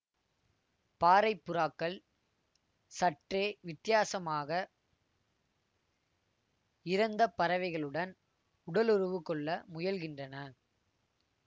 பாறைப் புறாக்கள் சற்றே வித்தியாசமாக இறந்த பறவைகளுடன் உடலுறவு கொள்ள முயல்கின்றன